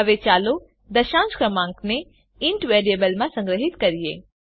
હવે ચાલો દશાંશ ક્રમાંકને ઇન્ટ વેરીએબલમાં સંગ્રહીત કરીએ